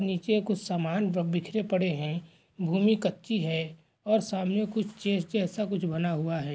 नीचे कुछ समान बिखरे पड़े है भूमि कच्ची है और सामने कुछ चेस जैसा कुछ बना हुआ है।